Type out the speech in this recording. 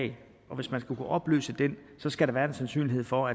og hvis man skal kunne opløse den skal der være en sandsynlighed for